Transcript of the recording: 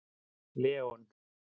Leon